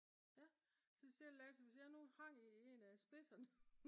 ja så siger Lasse hvis jeg nu hang i en af spidserne